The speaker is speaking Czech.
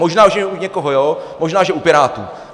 Možná že u někoho jo, možná, že u Pirátů.